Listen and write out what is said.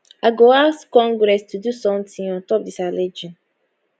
i go ask congress to do somtin ontop disalleging